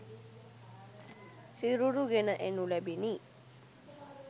සිරුරු ගෙන එනු ලැබිණි